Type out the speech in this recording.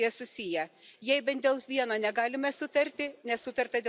Jei bent dėl vieno negalime sutarti, nesutarta dėl viso paketo.